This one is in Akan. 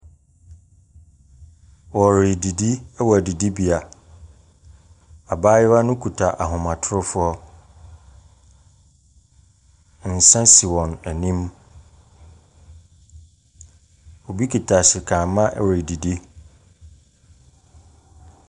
Wɔredidi wɔ adidibea. Abayewa no kuta ahomatorofoɔ. Nsa si wɔn anim. Obi kita sekamma redidi.